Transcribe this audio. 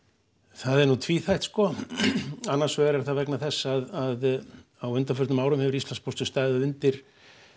það er nú tvíþætt sko annars vegar er það vegna þess að á undanförnum árum hefur Íslandspóstur staðið undir